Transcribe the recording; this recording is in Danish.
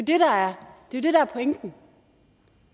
det er jo det der er pointen